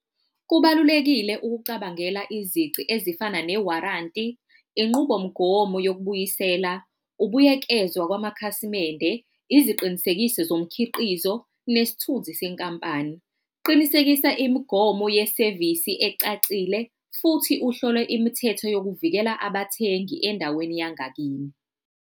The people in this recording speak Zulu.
Kubalulekile ukucabangela izici ezifana ne-warranty, inqubomgomo yokubuyisela, ubuyekezwa kwamakhasimende, iziqinisekiso zomkhiqizo, nesithunzi senkampani. Qinisekisa imigomo yesevisi ecacile, futhi uhlole imithetho yokuvikela abathengi endaweni yangakini.